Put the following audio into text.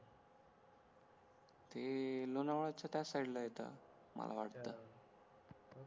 ते लोणावळच्या त्या साईड ला मला वाटतं